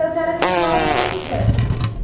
A senhora continuava morando em Santos?